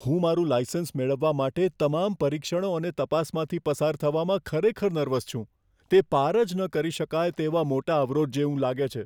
હું મારું લાઇસન્સ મેળવવા માટે તમામ પરીક્ષણો અને તપાસમાંથી પસાર થવામાં ખરેખર નર્વસ છું. તે પાર જ ન કરી શકાય તેવા મોટા અવરોધ જેવું લાગે છે.